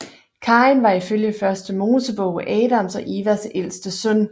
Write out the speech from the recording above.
Kain var ifølge Første Mosebog Adams og Evas ældste søn